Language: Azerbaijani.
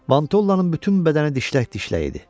Vantollanın bütün bədəni dişlək-dişlək idi.